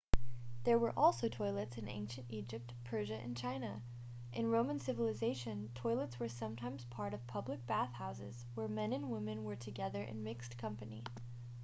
there were also toilets in ancient egypt persia and china in roman civilization toilets were sometimes part of public bath houses where men and women were together in mixed company